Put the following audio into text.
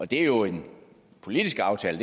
det er jo en politisk aftale